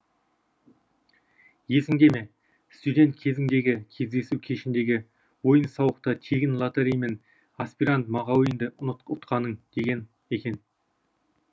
есіңде ме студент кезіңдегі кездесу кешіндегі ойын сауықта тегін лотореймен аспирант мағауинді ұтқаның деген екен